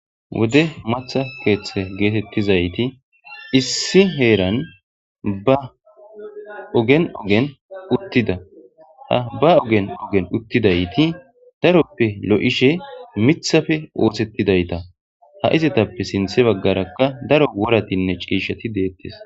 wodde maththa keththay gettetizayti issi heeran ba oggen oggen uttida ha ba oggen oggen uttidayti daroppe loishin miththappe oththetidayta ha izetappe sinthe baggaraka daaro worratine cishshati dettes.